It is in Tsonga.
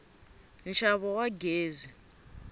nxavo wa gezi